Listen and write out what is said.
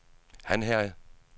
Hanherred